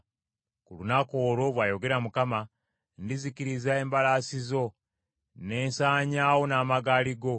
“Ku lunaku olwo,” bw’ayogera Mukama , “Ndizikiriza embalaasi zo ne nsanyaawo n’amagaali go.